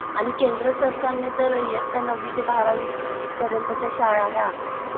आणि केंद्र सरकारने तर येत्या नववी ते बारावी पर्यंतच्या शाळा ह्या